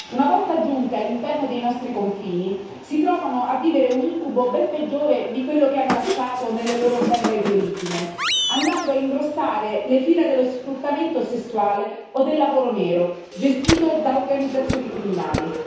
Una volta giunte all'interno dei nostri confini si trovano a vivere un incubo ben peggiore di quello che hanno lasciato nelle loro terre di origine, andando a ingrossare le fila dello sfruttamento sessuale o del lavoro nero, gestito da organizzazioni criminali.